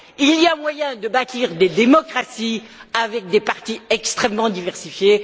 Il y a moyen de bâtir des démocraties avec des partis extrêmement diversifiés.